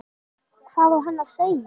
Hvað á hann að segja?